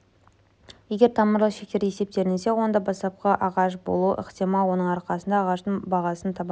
егер тамырлы шектер есептелінсе онда бастапқы ағаш болуы ықтимал оның арқасында ағаштың бағасын табамыз